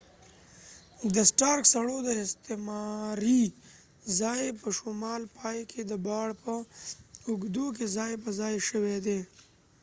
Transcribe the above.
د سټارک سړو د استعماري ځای په شمال پای کې د باړ په اوږدو کې ځای پر ځای شوي دي